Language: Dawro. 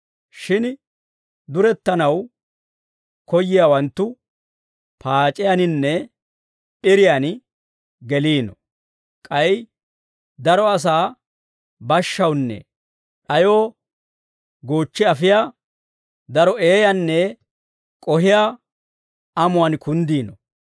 Shin durettanaw koyyiyaawanttu paac'iyaaninne p'iriyaan geliino; k'ay daro asaa bashshawunne d'ayoo goochchi afiyaa daro eeyanne k'ohiyaa amuwaan kunddiino.